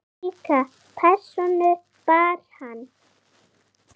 Slíka persónu bar hann.